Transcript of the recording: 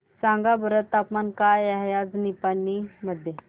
सांगा बरं तापमान काय आहे आज निपाणी मध्ये